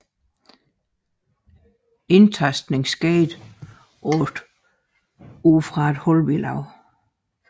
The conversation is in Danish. Indtastningen skete ud fra et hullebilag